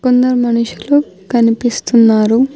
కొందరు మనుషులు కనిపిస్తున్నారు.